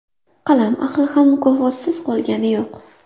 Qalam ahli ham mukofotsiz qolgani yo‘q.